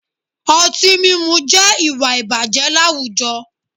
Ọtí mímu jẹ́ ìwà ìbàjẹ́ láwùjọ